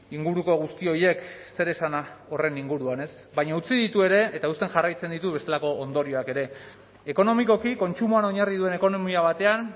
inguruko guzti horiek zer esana horren inguruan ez baina utzi ditu ere eta uzten jarraitzen ditu bestelako ondorioak ere ekonomikoki kontsumoan oinarri duen ekonomia batean